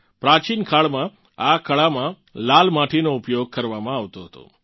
પ્રાચીન કાળમાં આ કળામાં લાલ માટીનો ઉપયોગ કરવામાં આવતો હતો